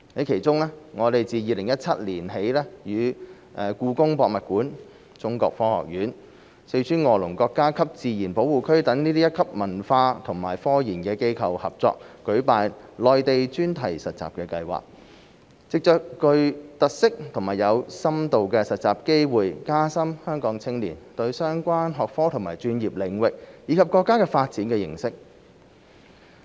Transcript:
其中，我們自2017年起與故宮博物院、中國科學院、四川臥龍國家級自然保護區等一級文化和科研機構合作舉辦內地專題實習計劃，藉着具特色和有深度的實習機會加深香港青年對相關學科和專業領域，以及國家發展的認識。